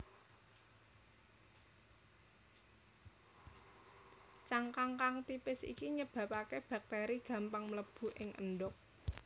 Cangkang kang tipis iki nyebabaké baktéri gampang mlebu ing endhog